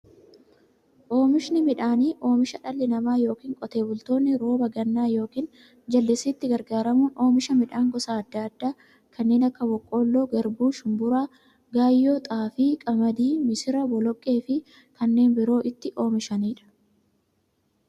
Oomishni midhaanii, oomisha dhalli namaa yookiin Qotee bultoonni roba gannaa yookiin jallisiitti gargaaramuun oomisha midhaan gosa adda addaa kanneen akka; boqqoolloo, garbuu, shumburaa, gaayyoo, xaafii, qamadii, misira, boloqqeefi kanneen biroo itti oomishamiidha.